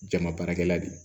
Jama baarakɛla de ye